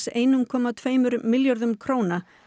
einum komma tveimur milljörðum króna